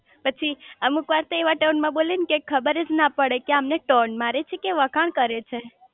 પછી અમુક વાર તો એવા ટોન માં બોલે કે ખબરજ ના પડે કે આમને ટોન માટે છે કે વખાણ કરે છે